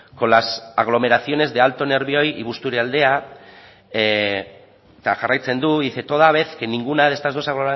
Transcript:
con las aglomeraciones de alto nervión y busturialdea eta jarraitzen du dice toda vez que ninguna de las dos